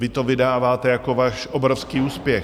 Vy to vydáváte jako váš obrovský úspěch.